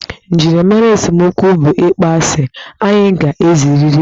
Njirimara esemokwu bụ ịkpọ asị, anyị ga-ezerịrị ya.